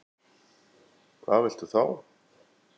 Hvað viltu þá?